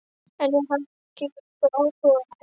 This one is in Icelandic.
En ég hafði ekki lengur áhuga á hefnd.